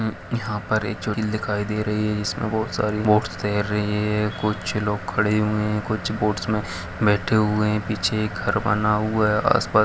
यहाँ पर एक झील दिखाई दे रही है जिसमें बोहोत सारी बोट्स तैर रही है कुछ लोग खड़े हुए है कुछ बोट्स में बैठे हुए है पीछे घर बना हुआ है उसपर --